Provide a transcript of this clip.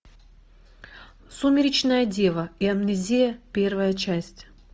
сумеречная дева и амнезия первая часть